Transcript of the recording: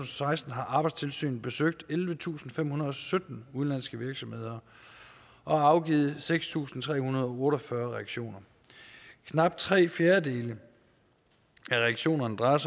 seksten har arbejdstilsynet besøgt ellevetusinde og femhundrede og sytten udenlandske virksomheder og afgivet seks tusind tre hundrede og otte og fyrre reaktioner knap tre fjerdedele af reaktionerne drejede